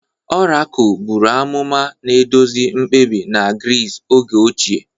Orakul buru amụma, na-eduzi mkpebi na Gris oge ochie.